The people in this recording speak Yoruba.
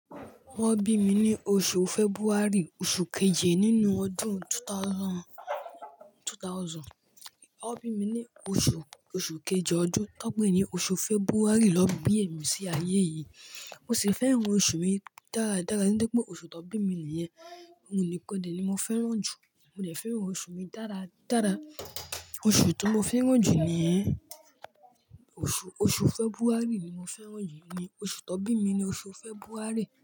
Wọn bí mi ní oṣù February, oṣù kejì nínú ọdún ẹgbẹ̀rún méjì, ẹgbẹ̀rún méjì. Wọn bí mi ní oṣù, oṣù kejì ọdún. Tanpé ní oṣù February naa bí èmi sí ayé yìí, mo sì fẹ́ran oṣù mi dáradára. Nítorí pé oṣù tó bí mi nìyẹn. Òun nìkan ni mo fẹ́ràn jù. Mo dè fẹ́ran oṣù mi dáradára. Oṣù tí mo fẹ́ràn jù ni, oṣù, oṣù February ni mo fẹ́ràn jù. Oṣù tó bí mi ni oṣù February.